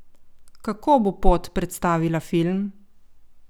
Kako bo pot predstavila film?